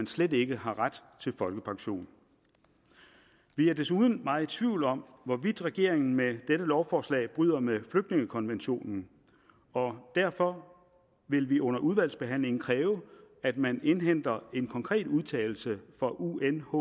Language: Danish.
slet ikke har ret til folkepension vi er desuden meget i tvivl om hvorvidt regeringen med dette lovforslag bryder med flygtningekonventionen og derfor vil vi under udvalgsbehandlingen kræve at man indhenter en konkret udtalelse fra unhcr